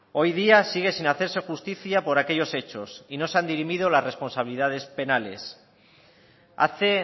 hoy día sigue sin hacerse justicia por aquellos hechos y no se han dirimido las responsabilidades penales hace